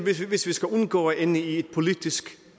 hvis vi skal undgå at ende i et politisk